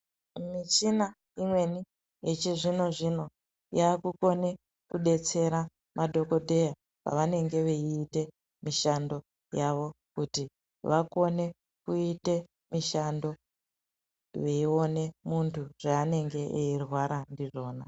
Mishina imweni yechizvinozvino yakukone kudetsera madhokodheya pavanenge veiite mishando yavo kuti vakone kuite mishando veione munhu zvaanenge eirwara ndizvona.